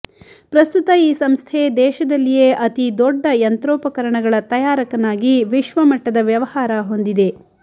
ಪ್ರಸ್ತುತ ಈ ಸಂಸ್ಥೆ ದೇಶದಲ್ಲಿಯೇ ಅತೀದೊಡ್ಡ ಯಂತ್ರೋಪಕರಣಗಳ ತಯಾರಕನಾಗಿ ವಿಶ್ವಮಟ್ಟದ ವ್ಯವಹಾರ ಹೊಂದಿದೆ